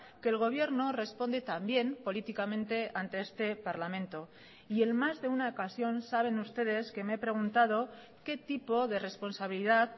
que el gobierno responde también políticamente ante este parlamento y en más de una ocasión saben ustedes que me he preguntado qué tipo de responsabilidad